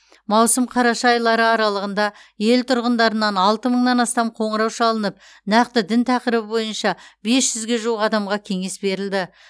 маусым қараша айлары аралығында ел тұрғындарынан алты мыңнан астам қоңырау шалынып нақты дін тақырыбы бойынша бес жүзге жуық адамға кеңес берілді